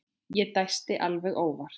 Ég dæsti alveg óvart.